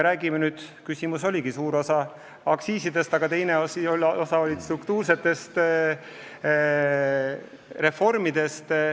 Aga te küsisite ka struktuursete reformide kohta.